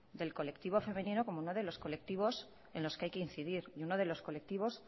del colectivo femenino como uno de los colectivos en los que hay que incidir y uno de los colectivos